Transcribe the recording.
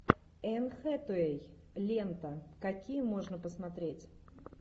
энн хэтэуэй лента какие можно посмотреть